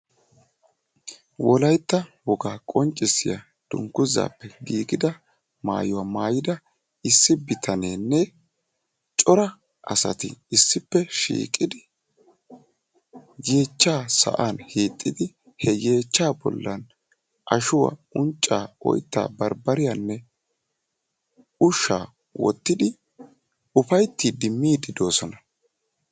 wolaytta woga qonccisiya dungguzappe giigida maayuwa maayyida issi bitanenne issippe shiiqidi yeechcha sa'an hiixidi he yeechcha bollan ashshuwa unccaa, oyttaa, barbbariyaanne ushshaa wottidi uppayttide miide doosona.